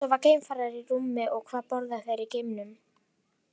Sofa geimfarar í rúmi og hvað borða þeir í geimnum?